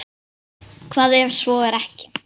Hvað ef svo er ekki?